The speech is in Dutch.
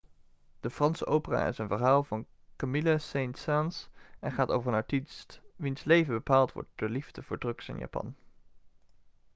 de franse opera is een verhaal van camille saint-saens en gaat over een artiest 'wiens leven bepaald wordt door de liefde voor drugs en japan.'